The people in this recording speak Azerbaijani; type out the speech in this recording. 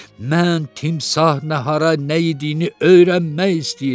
Mən timsah nahara nə yediyini öyrənmək istəyirəm.